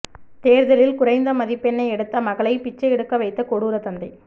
தேர்வில் குறைந்த மதிப்பெண் எடுத்த மகளை பிச்சை எடுக்க வைத்த கொடூர தந்தை